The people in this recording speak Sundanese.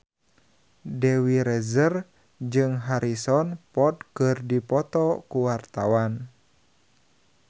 Dewi Rezer jeung Harrison Ford keur dipoto ku wartawan